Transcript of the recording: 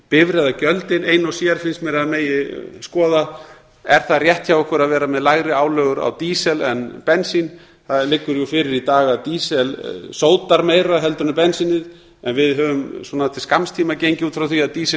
bifreiðagjöldin ein og sér finnst mér að megi skoða er rétt hjá okkur að vera með lægri álögur á dísil en bensín það liggur fyrir í dag að dísill sótar meira en bensínið en við höfum til skamms tíma gengið út frá því að dísill